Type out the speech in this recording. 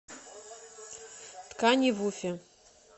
тканивуфе